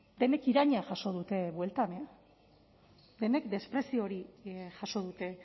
denek irainak jaso dute bueltan e denek desprezio hori jaso dute